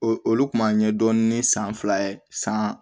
O olu kun ma ɲɛ dɔɔnin san fila san